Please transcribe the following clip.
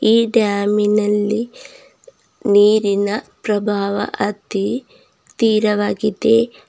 ಈ ಡ್ಯಾಮಿನಲ್ಲಿ ನೀರಿನ ಪ್ರಭಾವ ಅತಿ ತೀರವಾಗಿದೆ.